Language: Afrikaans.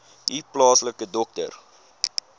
u plaaslike dokter